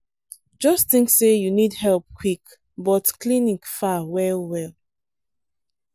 just think say you need help quick but clinic far well well.